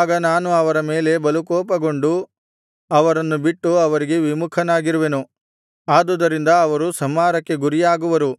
ಆಗ ನಾನು ಅವರ ಮೇಲೆ ಬಲುಕೋಪಗೊಂಡು ಅವರನ್ನು ಬಿಟ್ಟು ಅವರಿಗೆ ವಿಮುಖನಾಗಿರುವೆನು ಆದುದರಿಂದ ಅವರು ಸಂಹಾರಕ್ಕೆ ಗುರಿಯಾಗುವರು